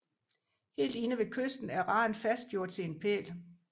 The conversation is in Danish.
Helt inde ved kysten er raden fastgjort til en pæl